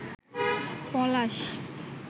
পলাশ